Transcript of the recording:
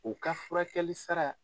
U ka furakɛlisara